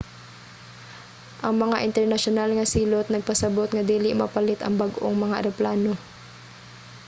ang mga internasyonal nga silot nagpasabut nga dili mapalit ang bag-ong mga eroplano